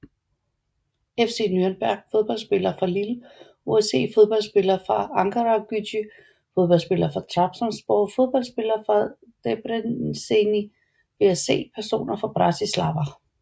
FC Nürnberg Fodboldspillere fra Lille OSC Fodboldspillere fra Ankaragücü Fodboldspillere fra Trabzonspor Fodboldspillere fra Debreceni VSC Personer fra Bratislava